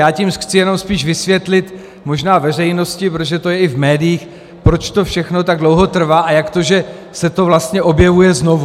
Já tím chci jenom spíš vysvětlit možná veřejnosti, protože to je i v médiích, proč to všechno tak dlouho trvá a jak to, že se to vlastně objevuje znovu.